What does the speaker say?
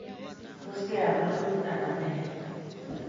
Tos, keyan walutik anan meyan?